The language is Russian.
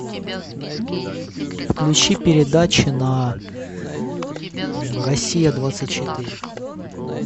включи передачи на россия двадцать четыре